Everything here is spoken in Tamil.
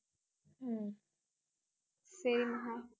ஹம் சரி மகா